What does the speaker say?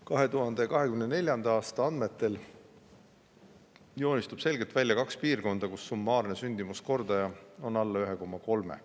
2024. aasta andmetel joonistub selgelt välja kaks piirkonda, kus summaarne sündimuskordaja on alla 1,3.